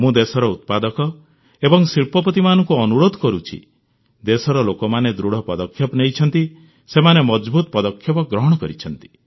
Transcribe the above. ମୁଁ ଦେଶର ଉତ୍ପାଦକ ଏବଂ ଶିଳ୍ପପତିମାନଙ୍କୁ ଅନୁରୋଧ କରୁଛି ଦେଶର ଲୋକମାନେ ଦୃଢ଼ ପଦକ୍ଷେପ ନେଇଛନ୍ତି ସେମାନେ ମଜଭୁତ ପଦକ୍ଷେପ ଗ୍ରହଣ କରିଛନ୍ତି